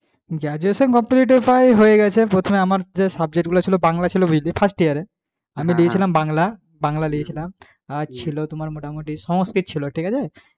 graduation complete প্রায় হয়ে গেছে প্রথমে আমার যে subject গুলো ছিল বাংলা ছিল বুঝলি first year এ আমি লিয়েছিলাম বাংলা বাংলা লিয়েছিলাম আর ছিল তোমার মোটামুটি সংস্কৃত ছিল। ঠিক আছে,